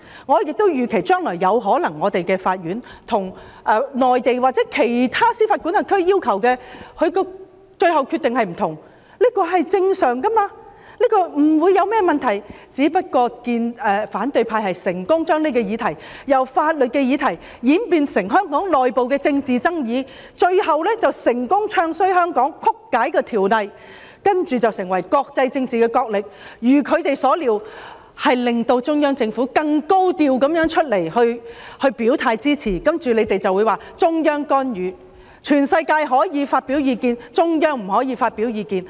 我亦預期將來對於內地或其他司法管轄區的要求，香港的法院最後的決定有可能是不同的，這是正常的，不會有任何問題，只不過反對派成功地把這個議題由法律的議題演變成香港內部的政治爭議，最後成功"唱衰"香港、曲解條例，接着演變為國際政治角力，再如他們所料，令中央政府更高調地出來表態支持，然後你們便說中央干預，全世界可以發表意見，中央不可以發表意見。